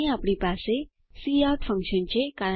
અહીં આપણી પાસે કાઉટ ફન્કશન છે